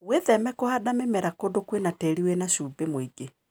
Wĩtheme na kũhanda mĩmera kũndũ kwĩna tĩri wĩna cumbĩ mũingĩ.